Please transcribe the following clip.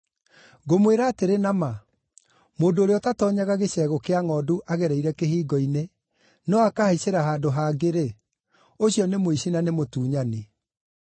“Ngũmwĩra atĩrĩ na ma, mũndũ ũrĩa ũtatoonyaga gĩcegũ kĩa ngʼondu agereire kĩhingo-inĩ, no akahaicĩra handũ hangĩ-rĩ, ũcio nĩ mũici na nĩ mũtunyani.